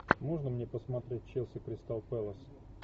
можно мне посмотреть челси кристал пэлас